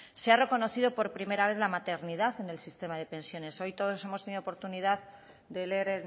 se ha reconocido por primera vez la maternidad en el sistema de pensiones hoy todos hemos tenido oportunidad de leer